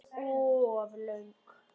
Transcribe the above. Þögnin var orðin of löng.